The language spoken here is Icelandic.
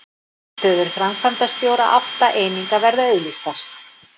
Stöður framkvæmdastjóra átta eininga verða auglýstar